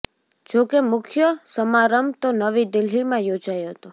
જોકે મુખ્ય સમાંરભ તો નવી દિલ્હીમાં યોજાયો હતો